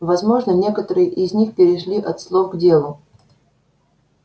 возможно некоторые из них перешли от слов к делу